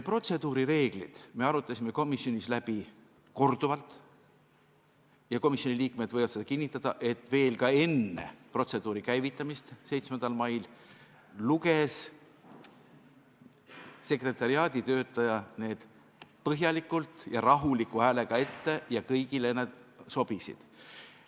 Protseduurireeglid arutasime komisjonis läbi korduvalt ja komisjoni liikmed võivad kinnitada, et ka veel enne protseduuri käivitamist 7. mail luges sekretariaadi töötaja need põhjalikult ja rahuliku häälega ette ning kõigile need sobisid.